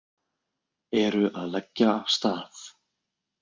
Eru að leggja af stað